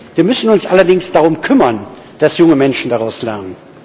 Wir müssen uns allerdings darum kümmern, dass junge Menschen daraus lernen.